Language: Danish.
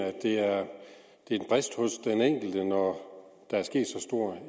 at det er et brist hos den enkelte når der er sket så stor